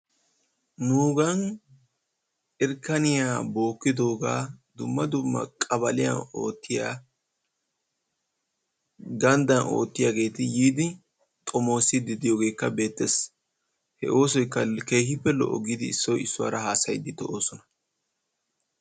Nuugan irkkaniya bookkidoogaa dumma dumma qabaliyawu oottiya ganddaa oottiyageeti yiidi xomoosiiddi diyogeekka beettes. He oosoykka keehippe lo'o giidi issoy issuwara haasayiiddi de'oosona.